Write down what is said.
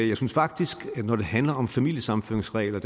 jeg synes faktisk når det handler om familiesammenføringsregler